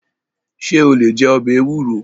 Ṣé o lè jẹ ọbẹ̀ ewúro?